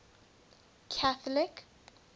catholic